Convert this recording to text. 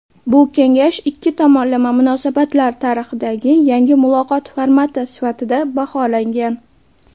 Bu kengash ikki tomonlama munosabatlar tarixida yangi muloqot formati sifatida baholangan.